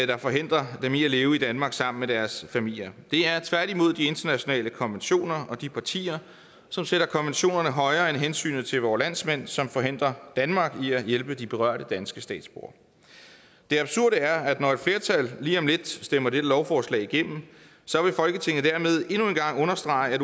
der forhindrer dem i at leve i danmark sammen med deres familier det er tværtimod de internationale konventioner og de partier som sætter konventionerne højere end hensynet til vore landsmænd som forhindrer danmark i at hjælpe de berørte danske statsborgere det absurde er at når et flertal lige om lidt stemmer dette lovforslag igennem så vil folketinget dermed endnu en gang understrege at